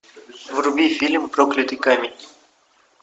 вруби фильм проклятый камень